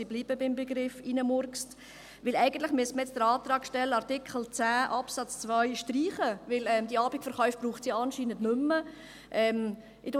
Ich bleibe beim Begriff «hineinmurksen», denn eigentlich müsste man jetzt den Antrag stellen, Artikel 10 Absatz 2 zu streichen, da es die Abendverkäufe ja anscheinend nicht mehr braucht.